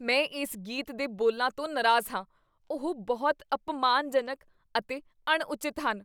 ਮੈਂ ਇਸ ਗੀਤ ਦੇ ਬੋਲਾਂ ਤੋਂ ਨਾਰਾਜ਼ ਹਾਂ। ਉਹ ਬਹੁਤ ਅਪਮਾਨਜਨਕ ਅਤੇ ਅਣਉਚਿਤ ਹਨ।